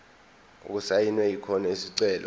okusayinwe khona isicelo